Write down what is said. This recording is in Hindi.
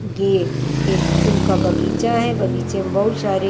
ये एक फूल का बगीचा है बगीचे में बहुत सारे--